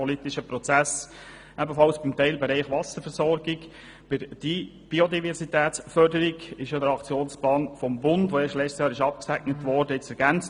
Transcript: Der Teilbereich Wasserversorgung wurde mit dem im vergangenen Jahr abgesegneten Aktionsplan des Bundes zur Biodiversitätsförderung ergänzt.